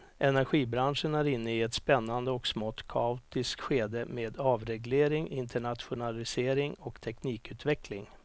Energibranschen är inne i ett spännande och smått kaotiskt skede med avreglering, internationalisering och teknikutveckling.